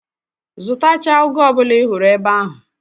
Zụtachaa ụgụ ọ bụla ị hụrụ ebe ahụ!